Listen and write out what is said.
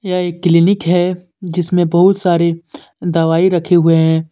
यह एक क्लीनिक है जिसमें बहुत सारे दवाई रखे हुए हैं।